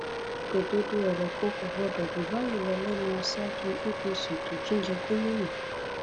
òdodo ọrọ kan kò gbọdọ jù báyìí lọ lẹnu aṣáájú apc tó tún jẹ gómìnà